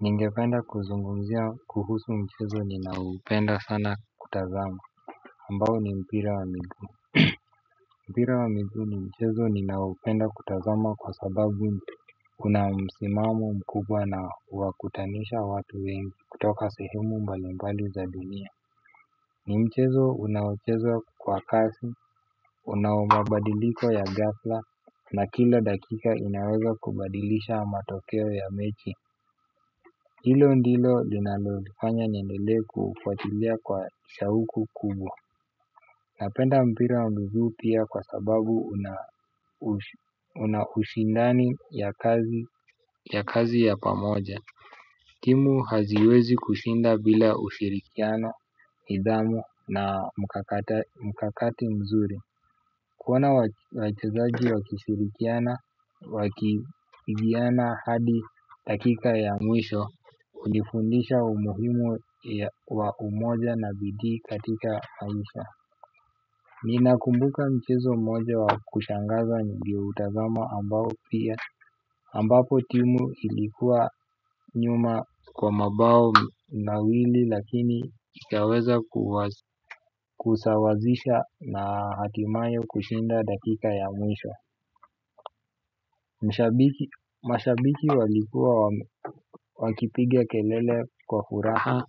Ninge penda kuzungumzia kuhusu mchezo ninaoupenda sana kutazama ambao ni mpira wa miguu mpira wa miguu ni mchezo ninaopenda kutazama kwa sababu una msimamo mkubwa na wa kutanisha watu wengi kutoka sehemu mbalimbali za dunia ni mchezo unaochezwa kwa kasi una mabadiliko ya ghafla na kila dakika inaweza kubadilisha matokeo ya mechi. Hilo ndilo linalolifanya niendelee kufuatilia kwa shauku kubwa. Napenda mpira wa miguu pia kwa sababu una hushindani ya kazi ya pamoja timu haziwezi kushinda bila ushirikiano, nidhamu na mkakati mzuri. Kuona wachezaji wakishirikiana wakiigiana hadi dakika ya mwisho hunifundisha umuhimu wa umoja na bidii katika maisha. Nina kumbuka mchezo moja wa kushangaza nilioutazama ambao pia ambapo timu ilikuwa nyuma kwa mabao ma wili. Lakini ikaweza kusawazisha na hatimaye kushinda dakika ya mwisho. Mashabiki walikuwa wakipiga kelele kwa furaha.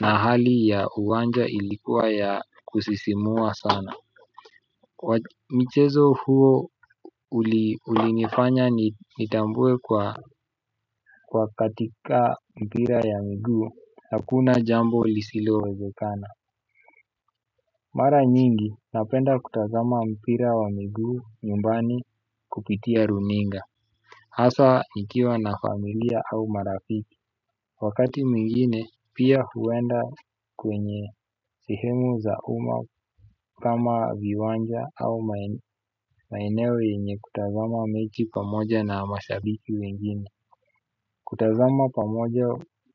Na hali ya uwanja ilikuwa ya kusisimua sana. Michezo huo ulinifanya nitambue kwa katika mpira ya miguu hakuna jambo lisilowezekana mara nyingi napenda kutazama mpira wa miguu nyumbani kupitia runinga asa nikiwa na familia au marafiki. Wakati mwingine pia huenda kwenye sehemu za uma kama viwanja au maeneo yenye kutazama mechi pamoja na mashabiki wengine. Kutazama pamoja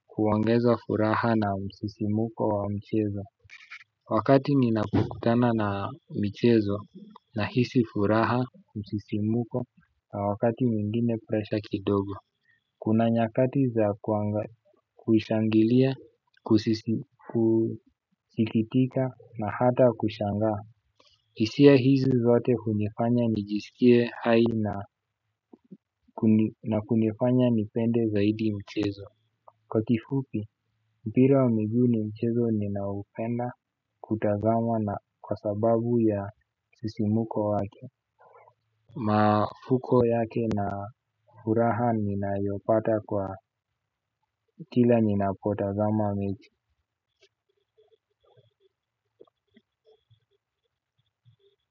huongeza furaha na msisimuko wa mchezo. Wakati ninakukutana na mchezo na hisi furaha kusisimuko na wakati mwingine presha kidogo. Kuna nyakati za kushangilia, kusikitika na hata kushangaa. Hisia hizi zote hunifanya nijisikie hai na kunifanya nipende zaidi mchezo kwa kifupi mpira wa miguu ni mchezo ninaupenda kutazama na kwa sababu ya msisimuko wake mafuko yake na furaha nina yopata kwa kila nina potazama mechi.